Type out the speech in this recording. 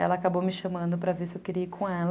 Ela acabou me chamando para ver se eu queria ir com ela.